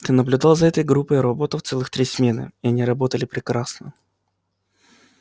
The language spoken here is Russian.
ты наблюдал за этой группой роботов целых три смены и они работали прекрасно